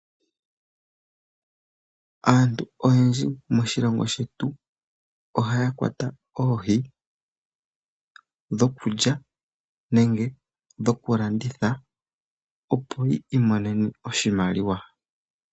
Aantu oyendji moshilongo shetu ohaya kwata oohi dhoku lya nenge dhoku landitha. Opo yiimonene oshimaliwa.